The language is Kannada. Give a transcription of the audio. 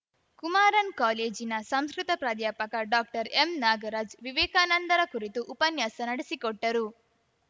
ಕುಮಾರನ್‌ ಕಾಲೇಜಿನ ಸಂಸ್ಕೃತ ಪ್ರಾಧ್ಯಾಪಕ ಡಾಕ್ಟರ್ಎಂನಾಗರಾಜ್‌ ವಿವೇಕಾನಂದರ ಕುರಿತು ಉಪನ್ಯಾಸ ನಡೆಸಿಕೊಟ್ಟರು